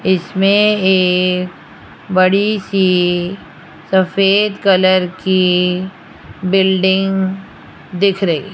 इसमें एक बड़ी सी सफेद कलर की बिल्डिंग दिख रही --